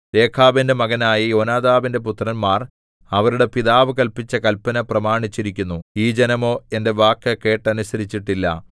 രേഖാബിന്റെ മകനായ യോനാദാബിന്റെ പുത്രന്മാർ അവരുടെ പിതാവ് കല്പിച്ച കല്പന പ്രമാണിച്ചിരിക്കുന്നു ഈ ജനമോ എന്റെ വാക്ക് കേട്ടനുസരിച്ചിട്ടില്ല